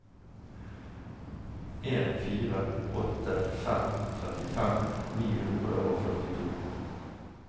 en fire åtte fem trettifem ni hundre og førtito